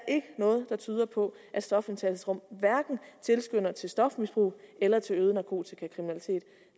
noget der tyder på at stofindtagelsesrum tilskynder til stofmisbrug eller til øget narkotikakriminalitet